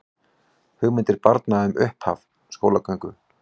Hugmyndir barna um upphaf skólagöngu